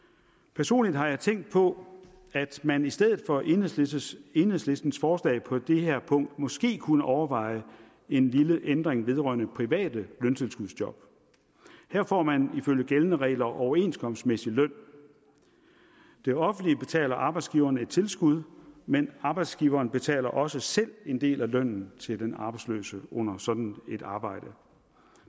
personligt har jeg tænkt på at man i stedet for enhedslistens enhedslistens forslag på det her punkt måske kunne overveje en lille ændring vedrørende private løntilskudsjob her får man ifølge gældende regler overenskomstmæssig løn det offentlige betaler arbejdsgiveren et tilskud men arbejdsgiveren betaler også selv en del af lønnen til den arbejdsløse under sådan et arbejde